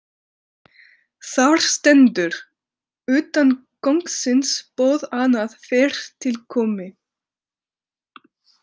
Þar stendur: utan kóngsins boð annað fyrr til komi.